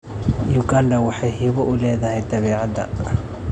Uganda waxay hibo u leedahay dabeecadda.